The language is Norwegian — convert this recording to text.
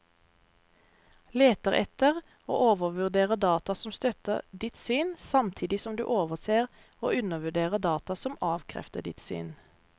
Leter etter og overvurderer data som støtter ditt syn, samtidig som du overser og undervurderer data som avkrefter ditt syn.